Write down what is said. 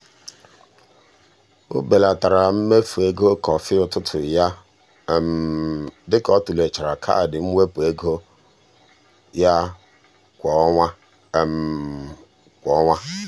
o belatara mmefu ego kọfị ụtụtụ ya dị ka ọ tụlechara kaadị mwepụ ego ya kwa ọnwa. kwa ọnwa.